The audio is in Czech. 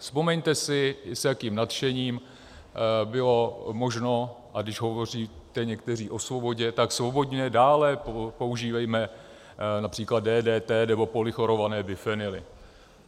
Vzpomeňte si, s jakým nadšením bylo možno - a když hovoříte někteří o svobodě, tak svobodně dále používejme například DDT nebo polychlorované bifenyly.